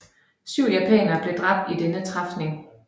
Syv japanere blev dræbt i denne træfning